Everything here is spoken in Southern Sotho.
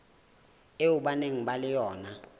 eo ba nang le yona